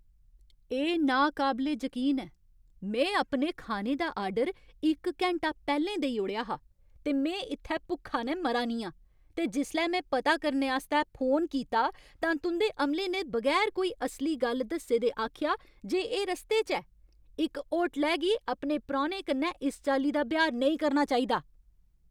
एह् नाकाबले जकीन ऐ। में अपने खाने दा आर्डर इक घैंटा पैह्लें देई ओड़ेआ हा, ते में इत्थै भुक्खा नै मरा नी आं। ते जिसलै में पता करने आस्तै फोन कीता, तां तुं'दे अमले ने बगैर कोई असली गल्ल दस्से दे आखेआ जे एह् रस्ते च ऐ। इक होटलै गी अपने परौह्ने कन्नै इस चाल्ली दा ब्यहार नेईं करना चाहिदा।